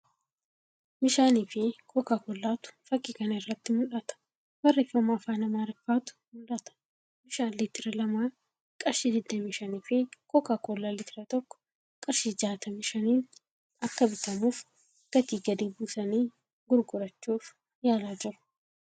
Bishaanii fii Kookaa koollaa tu fakkii kana irratti mul'ata. Barreeffama afaan Aamaariffatu mul'ata. Bishaan liitira lamaa qarshii 25 fii Kookaa Koollaa liitira tokkoo qarshii 65 niin akka bitamuuf gatii gadi buusanii gurgurachuuf yaalaa jiru.